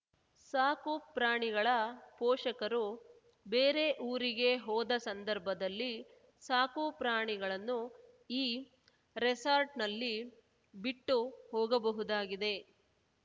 ಸಾಕುಪ್ರಾಣಿಗಳ ಪೋಷಕರು ಬೇರೆ ಊರಿಗೆ ಹೋದ ಸಂದರ್ಭದಲ್ಲಿ ಸಾಕುಪ್ರಾಣಿಗಳನ್ನು ಈ ರೆಸಾರ್ಟ್‌ನಲ್ಲಿ ಬಿಟ್ಟು ಹೋಗಬಹುದಾಗಿದೆ